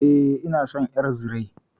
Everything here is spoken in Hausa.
E, ina son ƴar zire.